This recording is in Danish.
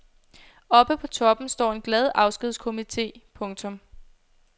Oppe på toppen står en glad afskedskomite. punktum